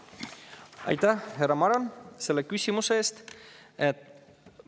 Aitäh, härra Maran, selle küsimuse eest!